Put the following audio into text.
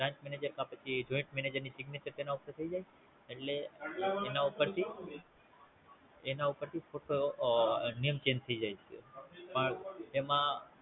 Branch manager કે પછી Joint manager ની Signature તેના ઉપર થઈ જાય એટલે એના ઉપરથી એના ઉપરથી ફોટો આ Name change થાય જાય છે પણ એમાં